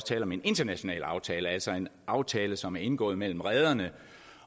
tale om en international aftale altså en aftale som er indgået mellem rederne